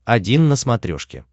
один на смотрешке